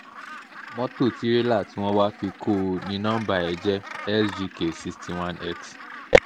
mọ́tò tìrẹlà tí wọ́n wàá fi kọ ọ́ ní nọmba ẹ jẹ́ sgk sixty one x